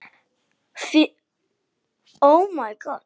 Afi, hvar fékkstu þessar buxur?